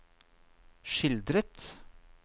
skildret